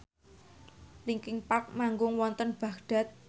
linkin park manggung wonten Baghdad